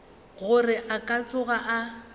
gore a ka tsoga a